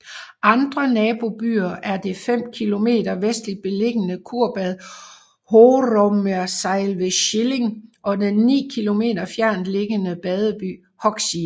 Andre nabobyer er det fem kilometer vestlig beliggende kurbad Horumersiel ved Schillig og den ni kilometer fjernt liggende badeby Hooksiel